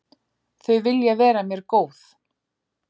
Þau vilja vera mér góð.